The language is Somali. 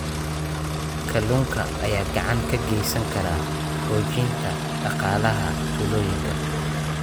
Kalluunka ayaa gacan ka geysan kara xoojinta dhaqaalaha tuulooyinka.